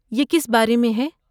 یہ کس بارے میں ہے؟